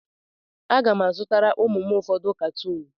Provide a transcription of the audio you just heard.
Aga m azụtara ụmụ m ụfọdụ katuun.